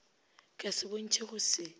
ka se bontšhe go se